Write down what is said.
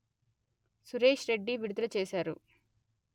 సురేశ్ రెడ్డి విడుదల చేశారు